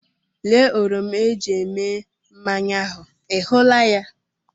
Lee oroma eji eme mmanya ahụ, ị hụla ya?